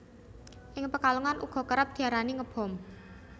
Ing Pekalongan uga kerep diarani Ngebom